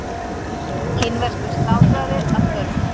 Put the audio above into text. kínverskur slátrari að störfum